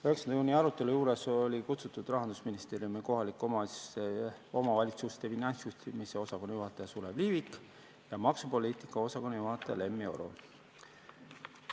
9. juuni arutelu juurde oli kutsutud Rahandusministeeriumi kohalike omavalitsuste finantsjuhtimise osakonna juhataja Sulev Liivik ja maksupoliitika osakonna juhataja Lemmi Oro.